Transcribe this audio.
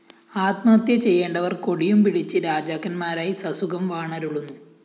ആത്മഹത്യ ചെയ്യേണ്ടവര്‍ കൊടിയുംപിടിച്ച് രാജാക്കന്മാരായി സസുഖം വാണരുളുന്നു